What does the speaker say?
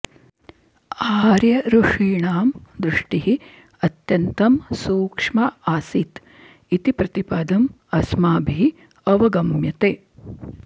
आर्यऋषीणां दृष्टिः अत्यन्तं सूक्ष्मा आसीत् इति प्रतिपदम् अस्माभिः अवगम्यते